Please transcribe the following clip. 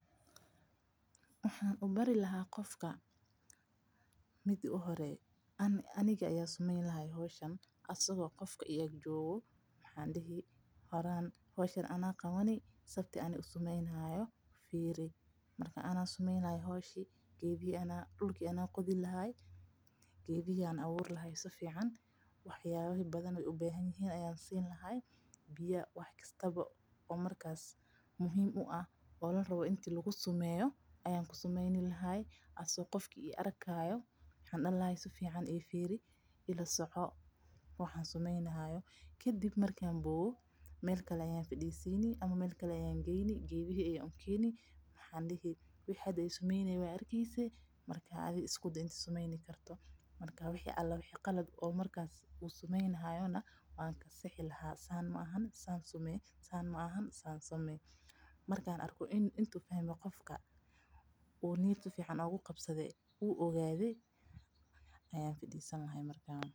Waxaan ubari lahaa qofka marka hore aniga aya sameyni lahaa asaga oo igarab joogo iga fiirso ayaan dihi lahaa geedka ayaan aburi lahaay biya ayaan ku dari lahaa asaga oo arkaayo kadib meel kale ayaan geyni geeda ayaan ukeeni sida aan sameynaye suubi ayaan dihi lahaa.